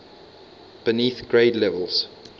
beneath grade levels